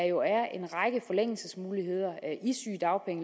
jo er en række forlængelsesmuligheder